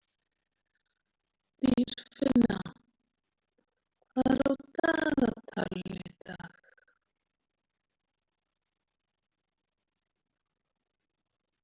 Dýrfinna, hvað er á dagatalinu í dag?